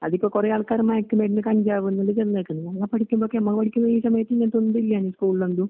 അതിപ്പൊകുറേയാൾക്കാറ് മയക്കുമരുന്ന്, കഞ്ചാവെന്ന്ചെന്നേക്കണ്. നമ്മള്പഠിക്കുമ്പൊക്കെ ഈസമയത്ത് ഇങ്ങനൊത്തൊണ്ടില്ലാരുന്നു സ്കൂളിലന്തു.